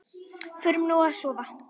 Förum nú að sofa.